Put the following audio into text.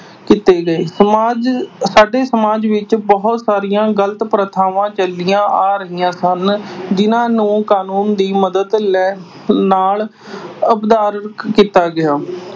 ਕੀਤੇ ਗਏ। ਸਮਾਜ ਅਹ ਸਾਡੇ ਸਮਾਜ ਵਿੱਚ ਬਹੁਤ ਸਾਰੀਆਂ ਗਲਤ ਪ੍ਰਥਾਵਾਂ ਚੱਲੀਆਂ ਆ ਰਹੀਆਂ ਸਨ ਜਿਨ੍ਹਾਂ ਨੂੰ ਕਾਨੂੰਨ ਦੀ ਮਦਦ ਲੈ ਅਹ ਨਾਲ ਕੀਤਾ ਗਿਆ।